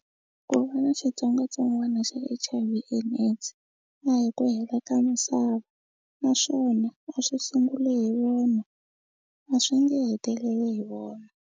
Mu va na xitsongwatsongwana xa H_I_V and AIDS a hi ku hela ka misava naswona a swi sunguli hi vona a swi nge heteleli hi vona.